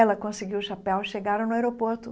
Ela conseguiu o chapéu e chegaram no aeroporto.